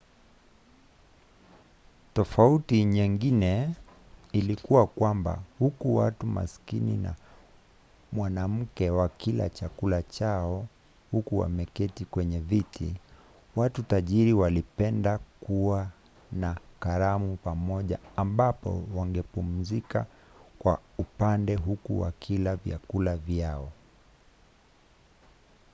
tofauti nyingine ilikuwa kwamba huku watu masikini na mwanamke wakila chakula chao huku wameketi kwenye viti watu tajiri walipenda kuwa na karamu pamoja ambapo wangepumzika kwa upande huku wakila vyakula vyao